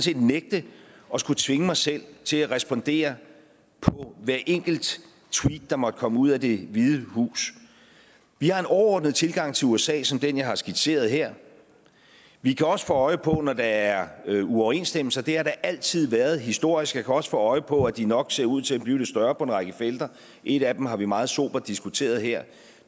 nægte at skulle tvinge mig selv til at respondere på hvert enkelt tweet der måtte komme ud af det hvide hus vi har en overordnet tilgang til usa som den jeg har skitseret her vi kan også få øje på det når der er uoverensstemmelser det har der altid været historisk jeg kan også få øje på at de nok ser ud til at blive lidt større på en række felter et af dem har vi meget sobert diskuteret her